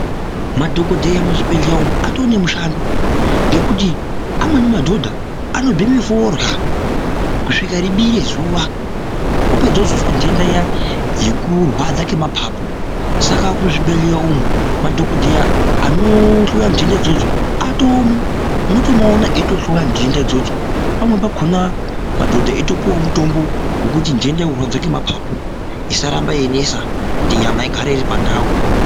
Madhokodheya muzvibhedhleya umu atoo nemushando, ngekuti amweni madhodha anobheme forya kusvika ribire zuwa opedza ozozwa nhenda iya yekurwadza kwemapapu saka kuzvibhedhleya umu madhokodheya anohloya nhenda idzodzo atoomo unotomuona eitohloya nhenda idzodzo, pamweni pakhona madhodha eyitopuwa mutombo wekuti nhenda yekurwadza kwemapapu isaramba yeinesa kuti nyama igare iri pandau.